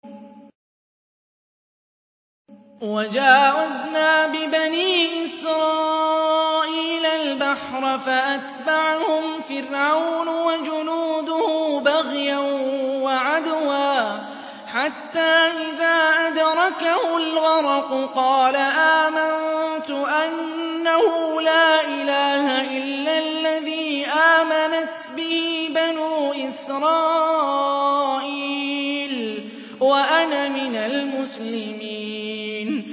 ۞ وَجَاوَزْنَا بِبَنِي إِسْرَائِيلَ الْبَحْرَ فَأَتْبَعَهُمْ فِرْعَوْنُ وَجُنُودُهُ بَغْيًا وَعَدْوًا ۖ حَتَّىٰ إِذَا أَدْرَكَهُ الْغَرَقُ قَالَ آمَنتُ أَنَّهُ لَا إِلَٰهَ إِلَّا الَّذِي آمَنَتْ بِهِ بَنُو إِسْرَائِيلَ وَأَنَا مِنَ الْمُسْلِمِينَ